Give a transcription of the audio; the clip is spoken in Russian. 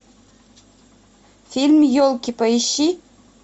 фильм елки поищи